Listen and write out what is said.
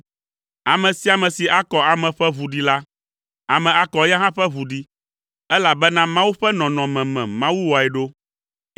“Ame sia ame si akɔ ame ƒe ʋu ɖi la, ame akɔ eya hã ƒe ʋu ɖi, elabena Mawu ƒe nɔnɔme me Mawu wɔe ɖo.